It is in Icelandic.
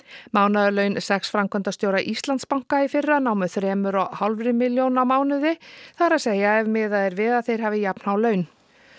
mánaðarlaun sex framkvæmdastjóra Íslandsbanka í fyrra námu þremur og hálfri milljón á mánuði það er að segja ef miðað við að þeir hafi jafnhá laun